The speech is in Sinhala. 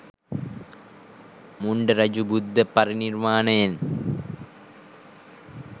මුණ්ඩ රජු බුද්ධ පරිනිර්වාණයෙන්